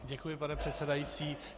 Děkuji, pane předsedající.